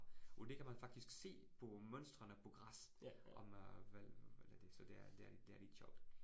Og det kan man faktisk se på mønstrene på græs om øh, hvad eller så det er det er det er lidt sjovt